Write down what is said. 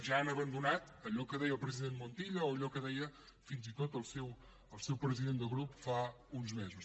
ja han abandonat allò que deia el president montilla o allò que deia fins i tot el seu president de grup fa uns mesos